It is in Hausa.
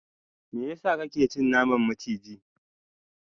meyasa kake ci naman maciji?